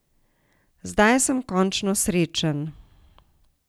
Zdaj sem končno srečen.